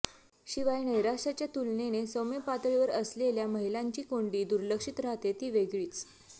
शिवाय नैराश्याच्या तुलनेने सौम्य पातळीवर असलेल्या महिलांची कोंडी दुर्लक्षित राहते ती वेगळीच